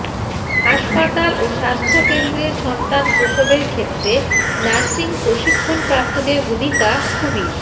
হাসপাতাল ও স্বাস্থ্যকেন্দ্রে সন্তান প্রসবের ক্ষেত্রে নার্সিং প্রশিক্ষণপ্রাপ্তদের ভূমিকা খুবই